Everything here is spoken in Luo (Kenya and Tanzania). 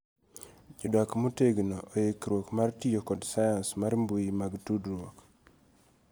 Jadak motegno oikruok mar tiyo kod sayans mar mbui mag tudruok